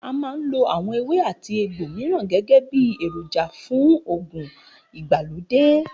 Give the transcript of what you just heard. A máa ń lo àwo̩n ewé àti egbò mìíràn gé̩gé̩ bí èròjà fún fún ògùn ìgbàlódé